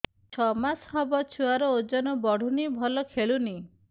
ଛଅ ମାସ ହବ ଛୁଆର ଓଜନ ବଢୁନି ଭଲ ଖେଳୁନି